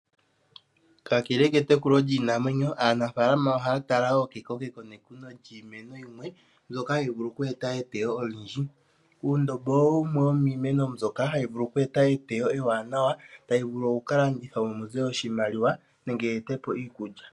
Kakele ketekulo lyiinamwenyo aanafalama ohaya tala wo kekokeko nekuno lyiimeno yimwe mbyoka hayi vulu oku eta eteyo olindji. Uundombo owo wumwe womiimeno mbyoka hayi vulu oku eta eteyo ewanawa tayi vulu okukalandithwa momuze oshimaliwa nenge yi etepo iikulya.